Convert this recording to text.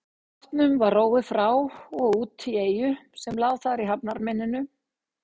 Bátnum var róið frá og út í eyju sem lá þar í hafnarmynninu.